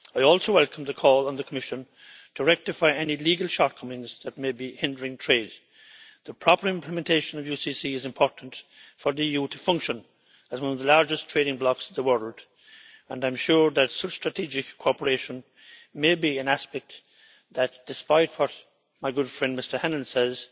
I also welcome the call on the Commission to rectify any legal shortcomings that may be hindering trade. The proper implementation of the UCC is important for the EU to function as one of the largest trading blocs in the world and I am sure that such strategic cooperation may be an aspect that, despite what my good friend Mr Hannan says,